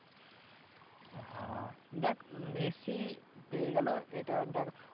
হ্যাঁ দেখ মেসি পেয়ে গেলো এটা দেখ